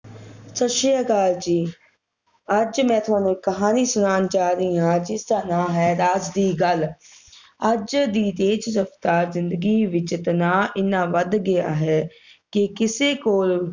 ਸਤਿ ਸ਼੍ਰੀ ਅਕਲ ਜੀ ਅੱਜ ਮੈਂ ਤੁਹਾਨੂੰ ਇਕ ਕਹਾਣੀ ਸੁਣਾਉਣ ਜਾ ਰਹੀ ਹਾਂ ਜਿਸਦਾ ਨਾਂ ਹੈ ਰਾਜ ਦੀ ਗੱਲ ਅੱਜ ਦੀ ਤੇਜ ਰਫਤਾਰ ਜਿੰਦਗੀ ਵਿਚ ਤਣਾਅ ਇੰਨਾ ਵੱਧ ਗਿਆ ਹੈ ਕਿ ਕਿਸੇ ਕੋਲ